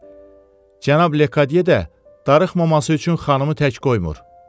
Cənab Lekadye də darıxmamaq üçün xanımı tək qoymur.